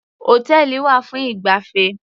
Hòtẹ́ẹ̀lì wà fún ìgbafẹ́.